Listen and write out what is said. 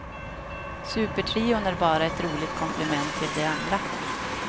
Supertrion är bara ett roligt komplement till det andra.